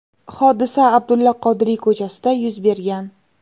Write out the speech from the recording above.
Hodisa Abdulla Qodiriy ko‘chasida yuz bergan.